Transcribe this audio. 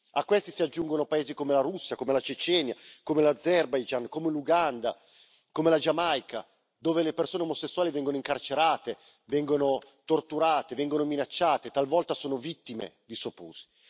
A questi si aggiungono paesi come la Russia, come la Cecenia, come l'Azerbaigian, come l'Uganda, come la Giamaica, dove le persone omosessuali vengono incarcerate, vengono torturate e vengono minacciate, talvolta sono vittime di soprusi.